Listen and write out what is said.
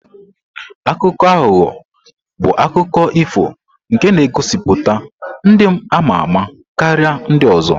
Akuko ahugho bụ akụkọ ifo nke na-egosipụta ndị ama-ama karịa ndị ọzọ.